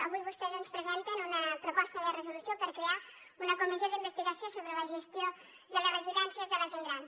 avui vostès ens presenten una proposta de resolució per crear una comissió d’investigació sobre la gestió de les residències de la gent gran